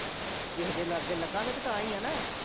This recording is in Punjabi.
ਕਿਸੇ ਦੇ ਲਾਗੇ ਲੱਗਾਂਗੇ ਤੇ ਤਾਂ ਹੀ ਆ ਨਾਂ